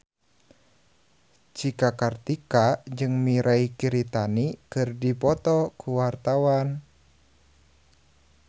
Cika Kartika jeung Mirei Kiritani keur dipoto ku wartawan